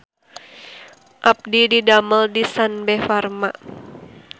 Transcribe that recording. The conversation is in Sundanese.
Abdi didamel di Sanbe Farma